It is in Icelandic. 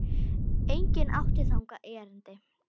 Enginn átti þangað erindi.